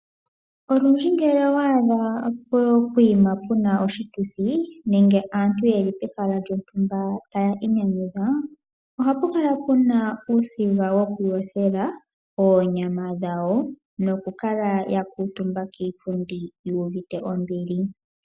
Olundji ngele owa adha pehala pu na oshituthi nenge aantu ye li pehala taya inyanyudha, ohapu kala puna uusiga wokuyothela oonyama dhawo, nokukala ya kuutumba kiipundi yu uvite ombili.